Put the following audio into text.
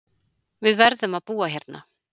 Við verðum að búa hérna